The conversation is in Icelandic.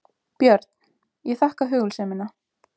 BJÖRN: Ég þakka hugulsemina.